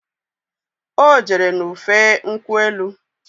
Ọ jere ṅụfee nkwụ elu